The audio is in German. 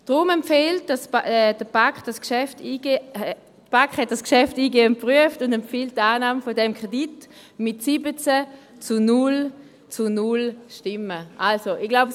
Die BaK hat dieses Geschäft eingehend geprüft und empfiehlt mit 17 zu 0 zu 0 Stimmen die Annahme dieses Kredits.